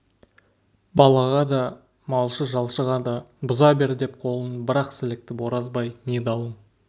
балаға да малшы-жалшыға да бұза бер деп қолын бір-ақ сілікті оразбай не дауың